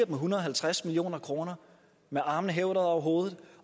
en hundrede og halvtreds million kroner med armene hævet over hovedet